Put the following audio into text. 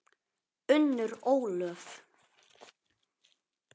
Unnur Ólöf.